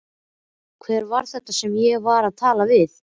Hver var þetta sem ég var að tala við?